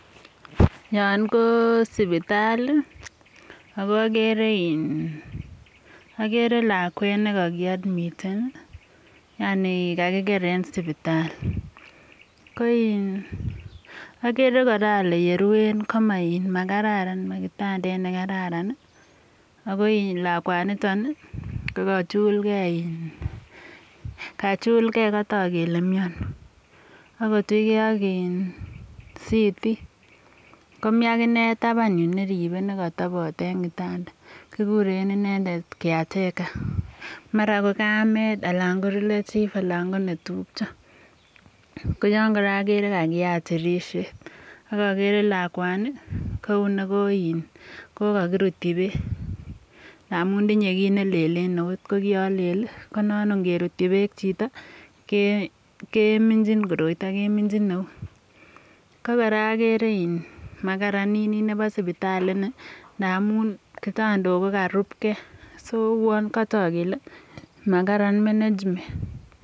Yon ko sibitali, ako agere lakwet nekakiadmiteni yaani kakiker eng sibitali, agere koen nyeruen komakararan, makitandet ne kararan ako lakwaniton ii kokachulken katok kole mnyani, ak kotuchken ak sitit ,komi akineb taban yu neribe nekatobot eng kitanda kikuren inendet caretaker, mara ko kamet anan ko relative anan ko netubcho ko yan koraa agere kakiyat tirishet, akagere lakwani kou nekokakirutyi bek ngamun tinye kit nelel eng neut, ko kion lel ko non ingerutyi bek chito keminchin neut, ko koraa agere kitandok karub ken katok kele makararan management.